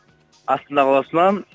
астана қаласынан